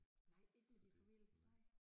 Nej ikke med din familie nej